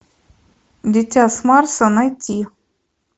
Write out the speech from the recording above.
дитя с марса найти